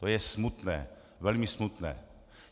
To je smutné, velmi smutné.